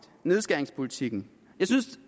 nedskæringspolitikken